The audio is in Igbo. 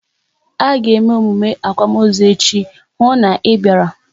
A ga eme emume akwamozu echi, hụ na ị bịara!